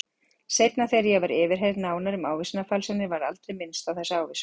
Seinna þegar ég var yfirheyrð nánar um ávísanafalsanirnar var aldrei minnst á þessa ávísun.